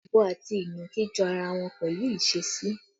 Ọ̀bọ àti ìnàkí jọ ara wọn pẹ̀lú ìṣesí